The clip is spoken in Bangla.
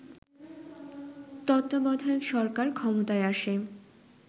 তত্ত্বাবধায়ক সরকার ক্ষমতায় আসে